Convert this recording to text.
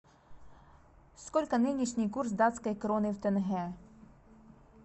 сколько нынешний курс датской кроны в тенге